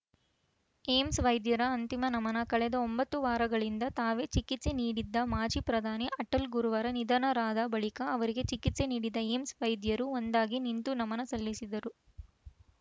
AIIMS ವೈದ್ಯರ ಅಂತಿಮ ನಮನ ಕಳೆದ ಒಂಬತ್ತು ವಾರಗಳಿಂದ ತಾವೇ ಚಿಕಿತ್ಸೆ ನೀಡಿದ್ದ ಮಾಜಿ ಪ್ರಧಾನಿ ಅಟಲ್‌ ಗುರುವಾರ ನಿಧನರಾದ ಬಳಿಕ ಅವರಿಗೆ ಚಿಕಿತ್ಸೆ ನೀಡಿದ ಏಮ್ಸ್‌ ವೈದ್ಯರು ಒಂದಾಗಿ ನಿಂತು ನಮನ ಸಲ್ಲಿಸಿದರು